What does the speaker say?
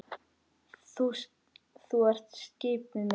Þú ert skipið mitt.